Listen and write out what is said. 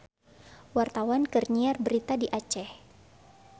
Wartawan keur nyiar berita di Aceh